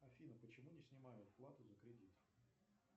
афина почему не снимают плату за кредит